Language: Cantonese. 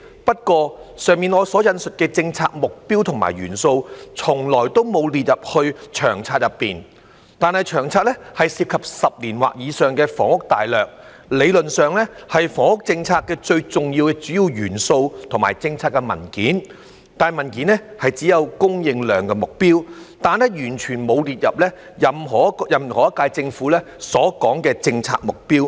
不過，以上我所引述的政策目標和元素，從來都沒有列入《長策》內，但《長策》涉及10年或以上的房屋大略，理論上是房屋政策的最重要和主要的元素和政策文件，但文件只有"供應量目標"，卻完全沒有列入任何一屆政府的政策目標。